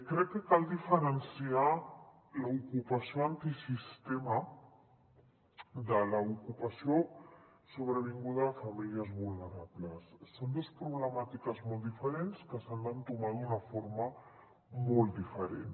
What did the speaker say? crec que cal diferenciar l’ocupació antisistema de l’ocupació sobrevinguda a famílies vulnerables són dos problemàtiques molt diferents que s’han d’entomar d’una forma molt diferent